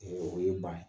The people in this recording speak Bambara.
o ye ban ye